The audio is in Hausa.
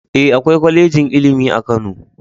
E, akwai kwalejin ilimi a Kano